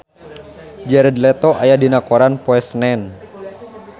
Jared Leto aya dina koran poe Senen